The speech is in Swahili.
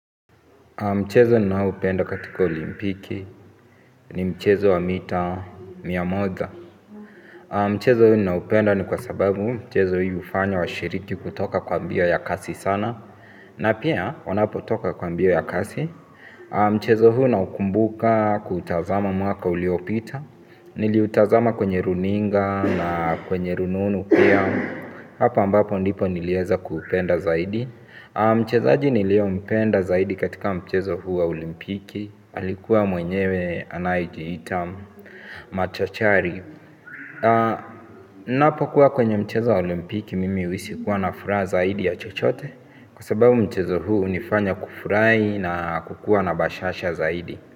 Mchezo ninaupenda katika olimpiki ni mchezo wa mita mia moja. Mchezo huu ninaupenda ni kwa sababu mchezo hii ufanya wa shiriki kutoka kwa mbio ya kasi sana. Na pia, wanapo toka kwa mbio ya kasi. Mchezo huu ninaukumbuka kutazama mwaka uliopita. Niliutazama kwenye runinga na kwenye rununu pia. Hapo ambapo ndipo nilieza kupenda zaidi. Mchezaji nilio mpenda zaidi katika mchezo huu wa olimpiki alikuwa mwenyewe anajiita machachari. Kunapokuwa kwenye mchezo wa olimpiki mimi uhisi kuwa na furaha zaidi ya chochote. Kwa sababu mchezo huu unifanya kufurai na kukua na bashasha zaidi.